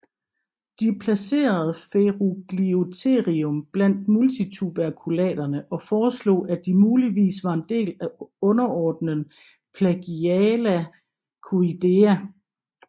De placerede Ferugliotherium blandt multituberculaterne og foreslog at de muligvis var en del af underordenen Plagiaulacoidea